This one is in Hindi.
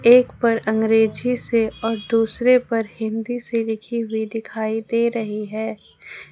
एक पर अंग्रेजी से और दूसरे पर हिंदी से लिखी हुई दिखाई दे रही है।